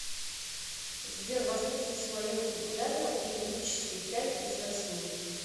сбер воспользуйся моим калькуляторам и вычисли пять из восьми